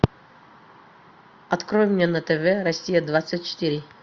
открой мне на тв россия двадцать четыре